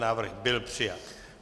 Návrh byl přijat.